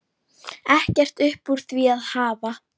Ekkert upp úr því að hafa!